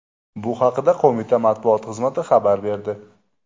Bu haqda Qo‘mita matbuot xizmati xabar berdi.